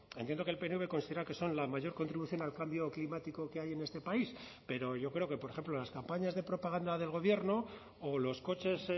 entiendo que el pnv considera que son la mayor contribución al cambio climático que hay en este país pero yo creo que por ejemplo las campañas de propaganda del gobierno o los coches